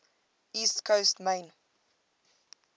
east coast maine